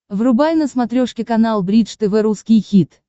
врубай на смотрешке канал бридж тв русский хит